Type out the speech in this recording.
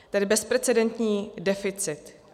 Tedy bezprecedentní deficit.